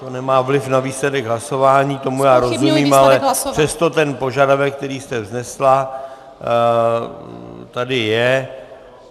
To nemá vliv na výsledek hlasování, tomu já rozumím - Ale přesto ten požadavek, který jste vznesla, tady je.